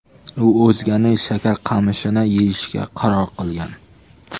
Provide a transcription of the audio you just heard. U o‘zganing shakarqamishini yeyishga qaror qilgan.